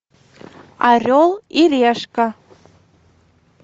орел и решка